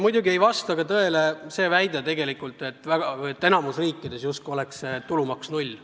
Muidugi ei vasta tõele see väide, et enamikus riikides on see tulumaks null.